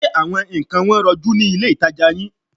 Ṣé àwọn nǹkan wọn rọjú ni ilé-ìtàjà yìí?